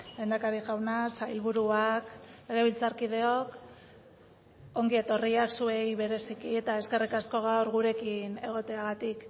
lehendakari jauna sailburuak legebiltzarkideok ongi etorriak zuei bereziki eta eskerrik asko gaur gurekin egoteagatik